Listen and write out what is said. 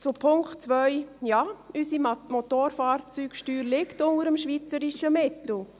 Zum Punkt 2: Ja, unsere Motorfahrzeugsteuer liegt unter dem schweizerischen Mittel.